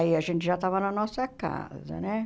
Aí a gente já estava na nossa casa, né?